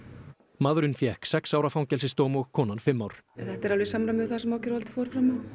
maðurinn fékk sex ára fangelsisdóm og konan fimm ár þetta er alveg í samræmi við það sem ákæruvaldið fór fram á